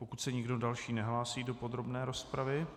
Pokud se nikdo další nehlásí do podrobné rozpravy...